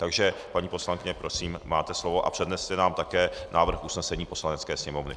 Takže paní poslankyně, prosím, máte slovo a předneste nám také návrh usnesení Poslanecké sněmovny.